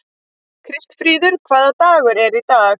Kristfríður, hvaða dagur er í dag?